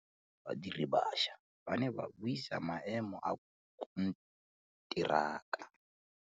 Badiri ba baša ba ne ba buisa maêmô a konteraka.